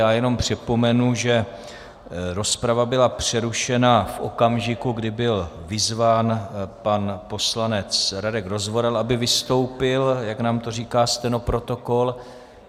Já jenom připomenu, že rozprava byla přerušena v okamžiku, kdy byl vyzván pan poslanec Radek Rozvoral, aby vystoupil, jak nám to říká stenoprotokol.